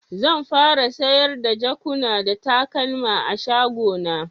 Zan fara sayar da jakuna da takalma a'shago na.